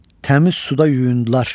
Təmiz suda yuyundular.